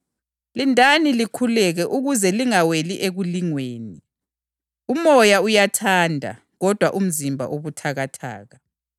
Wasephenduka kubafundi bakhe wabafica belele. Wabuza uPhethro wathi, “Lina madoda kambe kulehlule ukulinda kanye lami okwehola elilodwa nje?